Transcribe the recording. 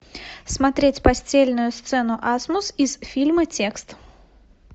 смотреть постельную сцену асмус из фильма текст